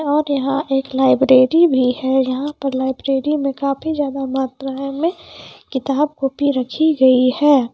और यहाँ एक लाइब्रेरी भी है यहाँ पर लाइब्रेरी मे काफी ज्यादा मात्राएं में किताब कॉपी रखी गई है।